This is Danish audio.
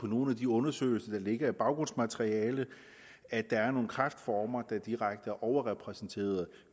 nogle af de undersøgelser der ligger i baggrundsmaterialet at der er nogle kræftformer der direkte er overrepræsenteret